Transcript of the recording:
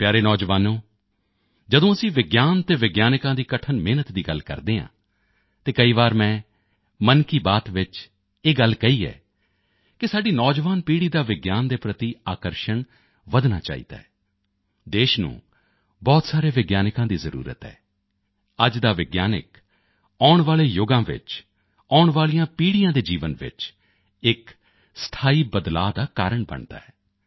ਮੇਰੇ ਪਿਆਰੇ ਨੌਜਵਾਨੋ ਜਦੋਂ ਅਸੀਂ ਵਿਗਿਆਨ ਅਤੇ ਵਿਗਿਆਨਕਾਂ ਦੀ ਕਠਿਨ ਮਿਹਨਤ ਦੀ ਗੱਲ ਕਰਦੇ ਹਾਂ ਤਾਂ ਕਈ ਵਾਰ ਮੈਂ ਮਨ ਕੀ ਬਾਤ ਵਿੱਚ ਇਹ ਗੱਲ ਕਹੀ ਹੈ ਕਿ ਸਾਡੀ ਨੌਜਵਾਨ ਪੀੜ੍ਹੀ ਦਾ ਵਿਗਿਆਨ ਦੇ ਪ੍ਰਤੀ ਆਕਰਸ਼ਣ ਵਧਣਾ ਚਾਹੀਦਾ ਹੈ ਦੇਸ਼ ਨੂੰ ਬਹੁਤ ਸਾਰੇ ਵਿਗਿਆਨਕਾਂ ਦੀ ਜ਼ਰੂਰਤ ਹੈ ਅੱਜ ਦਾ ਵਿਗਿਆਨਕ ਆਉਣ ਵਾਲੇ ਯੁਗਾਂ ਵਿੱਚ ਆਉਣ ਵਾਲੀਆਂ ਪੀੜ੍ਹੀਆਂ ਦੇ ਜੀਵਨ ਵਿੱਚ ਇਕ ਸਥਾਈ ਬਦਲਾਓ ਦਾ ਕਾਰਣ ਬਣਦਾ ਹੈ